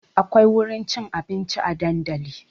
Akwai wurin cin abinci a dandali